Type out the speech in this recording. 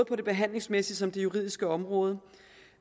på det behandlingsmæssige som det juridiske område